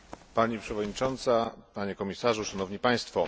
Pani Przewodnicząca, Panie Komisarzu, Szanowni Państwo!